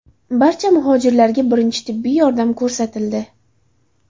Barcha muhojirlarga birinchi tibbiy yordam ko‘rsatildi.